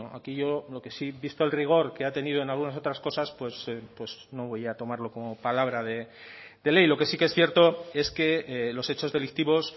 aquí yo lo que sí visto el rigor que ha tenido en algunas otras cosas no voy a tomarlo como palabra de ley lo que sí que es cierto es que los hechos delictivos